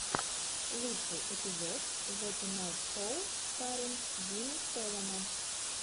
лучший эпизод зе тунайт шоу старринг джимми фэллона